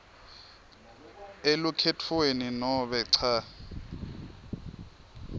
elukhetfweni nobe cha